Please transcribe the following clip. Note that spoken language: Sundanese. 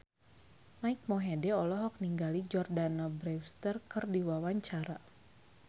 Mike Mohede olohok ningali Jordana Brewster keur diwawancara